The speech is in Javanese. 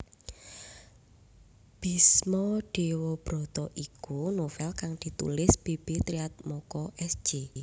Bisma Dewabrata iku novél kang ditulis B B Triatmoko S J